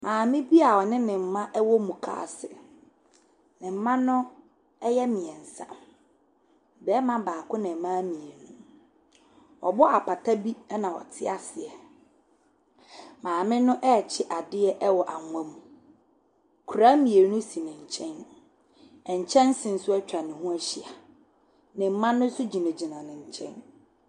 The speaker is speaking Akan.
Maame bi a ɔne ne mma wɔ mukaase. Ne mma no yɛ mmeɛnsa. Barima baako na mmaa mmienu. Wɔabɔ apata bi na wɔte aseɛ. Maame no rekye adeɛ wɔ anwa mu. Koraa mmienu si ne nkyɛn. Nkyɛnse nso atwa ne ho ahyia. Ne mma no nso gyinagyina ne nkyɛn.